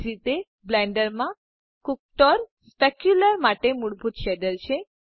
એ જ રીતે બ્લેન્ડર માં કુક્ટર સ્પેક્યુલ્ર ર માટે મૂળભૂત શેડર છે